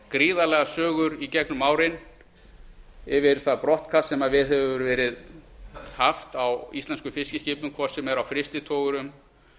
gríðarlegar sögur í gegnum árin af því brottkasti sem viðhaft hefur verið á íslenskum fiskiskipum hvort sem er á frystitogurum